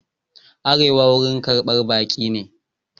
Arewa wurin karɓar baki ne.